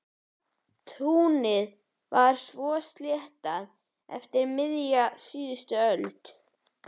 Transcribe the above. Túnið var svo sléttað eftir miðja síðustu öld.